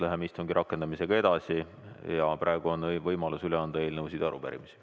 Läheme istungi rakendamisega edasi ja praegu on võimalus üle anda eelnõusid ja arupärimisi.